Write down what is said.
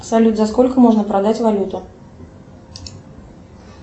салют за сколько можно продать валюту